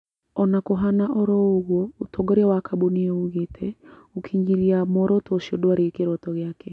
Ona kũhana oro ũguo ũtongoria wa kambuni ĩyo ũgĩte, gũkĩnyĩria mworoto ũcio ndwarĩ kĩroto gĩake